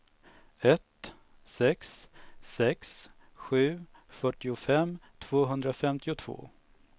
ett sex sex sju fyrtiofem tvåhundrafemtiotvå